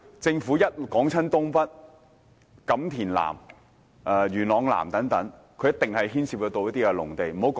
政府每逢說發展新界東北、錦田南和元朗南等，必定牽涉到農地。